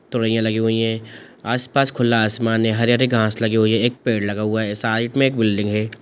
तोरायां लगी हुई है आस पास खुला आसमान है हरे रंग के घास लगे हुए है एक पेड़ लगा हुआ है एक साइड मे एक बिल्डिंग है।